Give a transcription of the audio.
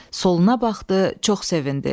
Soluna baxdı, çox sevindi.